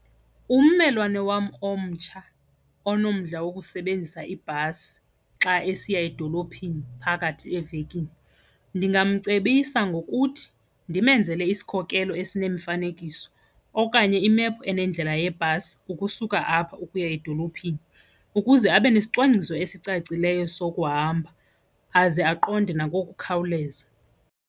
Ummelwane wam omtsha onomdla wokusebenzisa ibhasi xa esiya edolophini phakathi evekini ndingamcebisa ngokuthi ndimenzele isikhokelo esinemifankiso okanye imephu enendlela yebhasi ukusuka apha ukuya edolophini ukuze abe nesicwangciso esicacileyo sokuhamba, aze aqonde nangokukhawuleza.